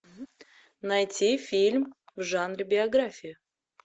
найти фильм в жанре биография